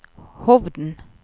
Hovden